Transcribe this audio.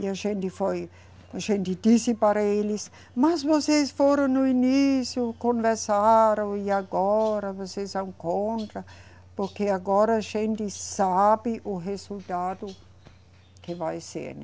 E a gente foi, a gente disse para eles, mas vocês foram no início, conversaram, e agora vocês são contra, porque agora a gente sabe o resultado que vai ser, né?